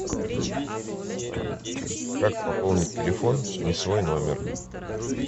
как пополнить телефон не свой номер